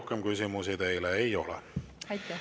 Rohkem küsimusi teile ei ole.